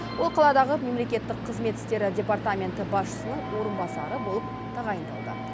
ол қаладағы мемлекеттік қызмет істері департаменті басшысының орынбасары болып тағайындалды